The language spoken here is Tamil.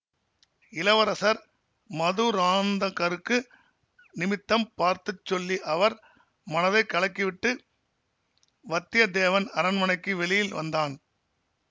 இளவரசர் மதுராந்தகருக்கு நிமித்தம் பார்த்து சொல்லி அவர் மனதை கலக்கிவிட்டு வத்தியத்தேவன் அரண்மனைக்கு வெளியில் வந்தான்